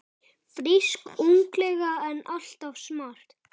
Frísk, ungleg og alltaf smart.